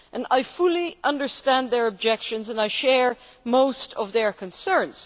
I fully understand their objections, and I share most of their concerns.